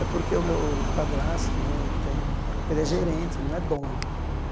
É porque o meu o padrasto né ele tem um, ele é gerente, ele não é dono.